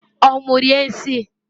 Onwu rie nsiǃ